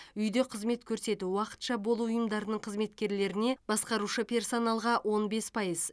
үйде қызмет көрсету уақытша болу ұйымдарының қызметкерлеріне басқарушы персоналға он бес пайыз